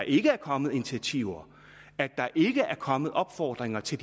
ikke er kommet initiativer at der ikke er kommet opfordringer til